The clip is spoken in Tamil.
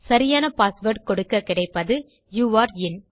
சரியான பாஸ்வேர்ட் கொடுக்கக்கிடைப்பது யூரே இன்